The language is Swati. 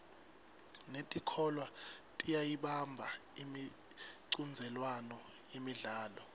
netikolwa tiyayibamba imicudzelwano yemidlalo